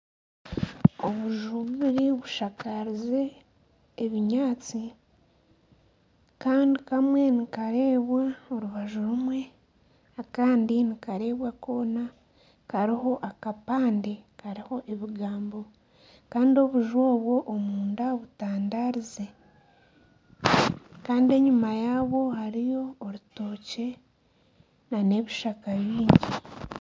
Obuju bubiri bushakarize ebinyaatsi. Kandi kamwe nikareebwa orubaju rumwe, akandi nikareebwa koona. Kariho akapande kariho ebigambo. Kandi obuju obu omunda butandarize. Kandi enyima yaabwo hariyo orutookye n'ebishaka bingi.